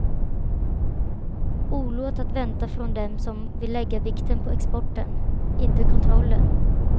Olåt att vänta från dem som vill lägga vikten på exporten, inte kontrollen.